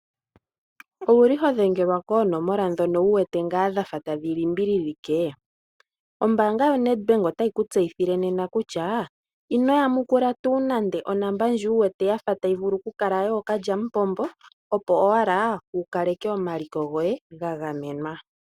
Owuli ho dhengelwa koonomola ndhono wu wete ngaa dhafa tadhi limbililike? Ombaanga yo Nedbank otayi ku tseyithile nena kutya ino ya mukula tuu nande onomola ndji wu wete tayi vulu oku kala yafa yookalyamupombo opo owala wu kaleke omaliko goye ga gamenwa.